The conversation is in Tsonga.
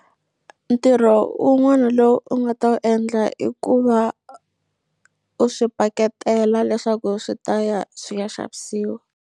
Ntirho wun'wana lowu u nga ta wu endla i ku va u swi paketela leswaku swi ta ya swi ya xavisiwa.